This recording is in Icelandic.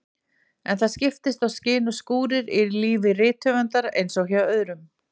En það skiptast á skin og skúrir í lífi rithöfundar eins og hjá öðrum.